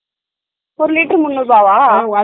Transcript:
ஒரு லிட்டர் முண்ணூறு ரூபாவா ?